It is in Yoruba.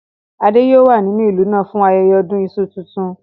Adé yòó wà nínú ìlú náà fún ayẹyẹ ọdún iṣu tuntun